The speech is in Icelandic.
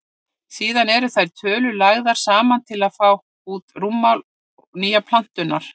síðan eru þær tölur lagðar saman til að fá út rúmmál nýju plánetunnar